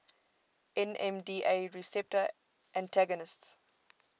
nmda receptor antagonists